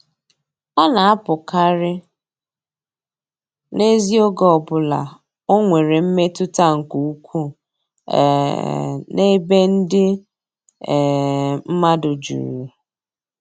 Ọ na-apụkarị n'ezi oge ọ bụla o nwere mmetụta nke ukwuu um n'ebe ndị um mmadụ juru.